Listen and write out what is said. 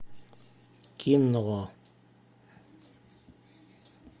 кино